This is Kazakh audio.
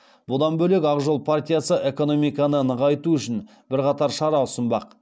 бұдан бөлек ақ жол партиясы экономиканы нығайту үшін бірқатар шара ұсынбақ